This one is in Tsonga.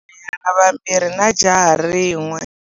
U na vanhwanyana vambirhi na jaha rin'we.